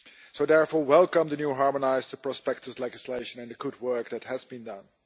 I therefore welcome the new harmonised prospectus legislation and the good work that has been done.